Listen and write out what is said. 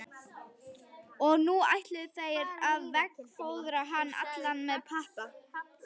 Og nú ætluðu þeir að veggfóðra hann allan með pappa.